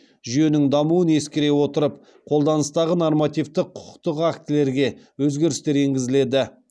жүйенің дамуын ескере отырып қолданыстағы нормативтік құқықтық актілерге өзгерістер енгізіледі